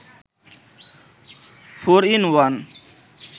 four in one